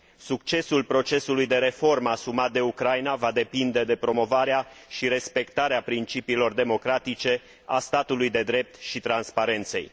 Succesul procesului de reformă asumat de Ucraina va depinde de promovarea și respectarea principiilor democratice, a statului de drept și transparenței.